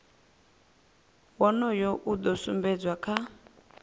wonoyo u do sumbedzwa kha